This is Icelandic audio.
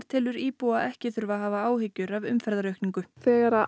telur íbúa ekki þurfa að hafa áhyggjur af umferðaraukningu þegar